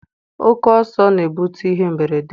Oke ọsọ na-ebute ihe mberede.